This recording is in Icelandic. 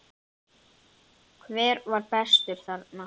Hver var bestur þarna?